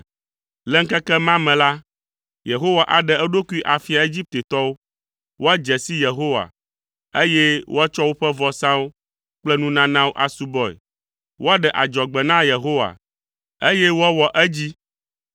Le ŋkeke ma me la, Yehowa aɖe eɖokui afia Egiptetɔwo, woadze si Yehowa, eye woatsɔ woƒe vɔsawo kple nunanawo asubɔe. Woaɖe adzɔgbe na Yehowa, eye woawɔ edzi.